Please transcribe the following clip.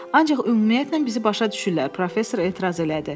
Ancaq ümumiyyətlə bizi başa düşürlər, professor etiraz elədi.